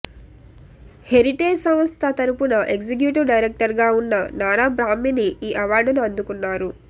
heritage సంస్థ తరపున executive డైరెక్టర్గా ఉన్న నారా బ్రాహ్మణి ఈ అవార్డును అందుకున్నారు